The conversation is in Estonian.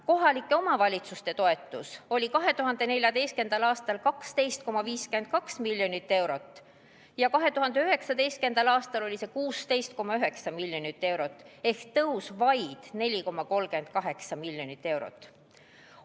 Kohalike omavalitsuste toetus oli 2014. aastal 12,52 miljonit eurot ja 2019. aastal 16,9 miljonit eurot ehk tõus vaid 4,38 miljonit eurot.